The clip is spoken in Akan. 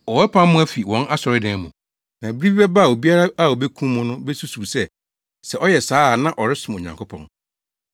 Wɔbɛpam mo afi wɔn asɔredan mu. Na bere bi bɛba a obiara a obekum mo no besusuw sɛ, sɛ ɔyɛ saa a na ɔresom Onyankopɔn.